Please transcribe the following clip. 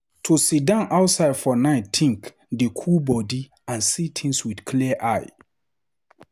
To sidon outside for nite think dey cool body and see things with clear eye.